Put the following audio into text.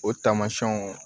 O tamasiyɛnw